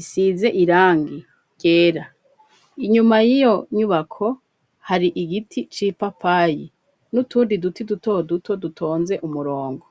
isize irangi ryera; inyuma y'iyo nyubako, hari igiti c'ipapayi, n'utundi duti, duto duto, dutonze umurongo.